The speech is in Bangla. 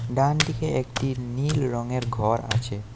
ডানদিকে একটি নীল রঙের ঘর আছে।